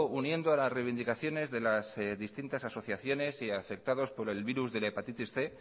uniendo a las reivindicaciones de las distintas asociaciones y afectados por el virus de la hepatitis cien